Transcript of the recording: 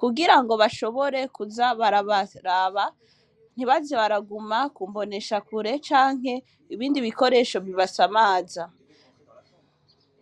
kugirango bashobore kuza barabara ntibaze baraguma ku mbonesha kure canke ibindi bikoresho bibasamaza.